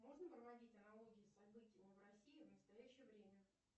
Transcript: можно проводить аналогии с событиями в россии в настоящее время